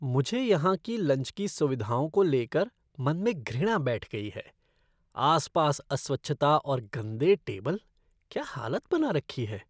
मुझे यहाँ की लंच की सुविधाओं को लेकर मन में घृणा बैठ गई है, आसपास अस्वच्छता और गंदे टेबल, क्या हालत बना रखी है!